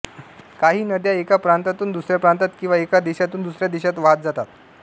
काही नद्या एका प्रांतातून दुसऱ्या प्रांतात किंवा एका देशातून दुसऱ्या देशात वहात जातात